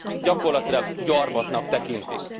gyakorlatilag gyarmatnak tekintik.